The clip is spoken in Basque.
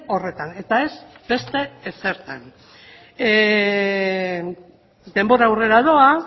horretan eta ez beste ezertan denbora aurrera doa